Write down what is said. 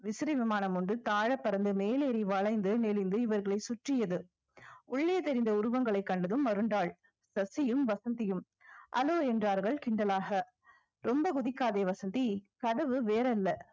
விசிறி விமானம் ஒன்று தாழ பறந்து மேலேறி வளைந்து நெளிந்து இவர்களை சுற்றியது உள்ளே தெரிந்த உருவங்களை கண்டதும் மருண்டாள் சசியும் வசந்தியும் hello என்றார்கள் கிண்டலாக ரொம்ப குதிக்காதே வசந்தி கதவு வேறல்ல